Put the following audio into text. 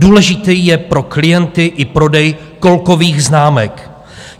Důležitý je pro klienty i prodej kolkových známek.